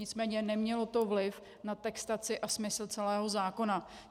Nicméně nemělo to vliv na textaci a smysl celého zákona.